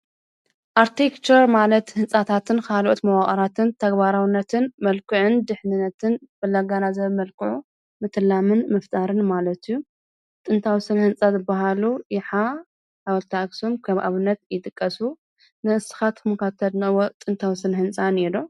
ኣርክቴክቸር ንህንጻታትን መንደቓትን ምንዳፍን ምድላውን ዝመሃር ስነ-ጥበብ እዩ። ህንጻ ጽቡቕ፣ ውሑስን ንህይወት ተገቢን ክኸውን ይሕግዝ። ኣርክቴክቸር ስነ-ጥበብን ሳይንስን ብሓባር ይጠቕም።